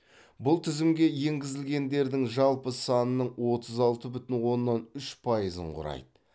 бұл тізімге енгізілгендердің жалпы санының отыз алты бүтін оннан үш пайызын құрайды